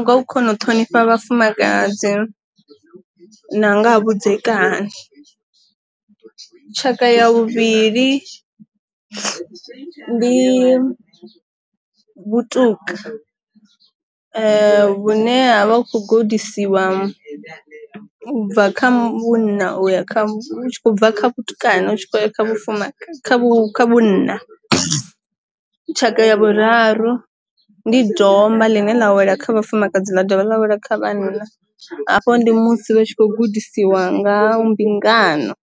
nga u kona u ṱhonifha vhafumakadzi na nga ha vhudzekani, tshaka ya vhuvhili ndi vhuṱuka vhune ha vha kho gudisiwa bva kha munna uya kha bva kha vhatukana vhunna, tshaka ya vhuraru ndi domba ḽine ḽa wela kha vhafumakadzi ḽa dovha lavhelela kha vhana afho ndi musi vha tshi kho gudisiwa nga mbingano.